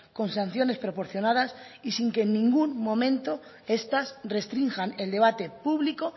con sanciones proporcionadas y sin que ningún momento estas restrinjan el debate público